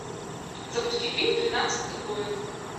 запусти фильм тринадцатый воин